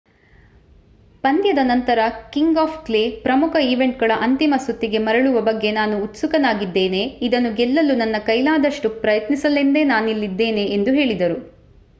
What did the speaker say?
ಪಂದ್ಯದ ನಂತರ king of clay ಪ್ರಮುಖ ಈವೆಂಟ್‌ಗಳ ಅಂತಿಮ ಸುತ್ತಿಗೆ ಮರಳುವ ಬಗ್ಗೆ ನಾನು ಉತ್ಸುಕನಾಗಿದ್ದೇನೆ. ಇದನ್ನು ಗೆಲ್ಲಲು ನನ್ನ ಕೈಲಾದಷ್ಟು ಪ್ರಯತ್ನಿಸಲೆಂದೇ ನಾನಿಲ್ಲಿದ್ದೇನೆ ಎಂದು ಹೇಳಿದರು